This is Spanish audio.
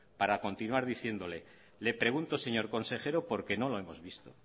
para continuar diciéndole le pregunto señor consejero porque no lo hemos visto